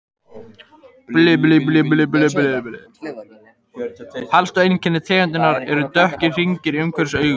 Helstu einkenni tegundarinnar eru dökkir hringir umhverfis augun.